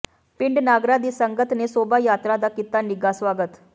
ਪਿੰਡ ਨਾਗਰਾ ਦੀ ਸੰਗਤ ਨੇ ਸ਼ੋਭਾ ਯਾਤਰਾ ਦਾ ਕੀਤਾ ਨਿੱਘਾ ਸਵਾਗਤ